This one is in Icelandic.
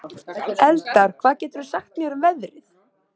Eldar, hvað geturðu sagt mér um veðrið?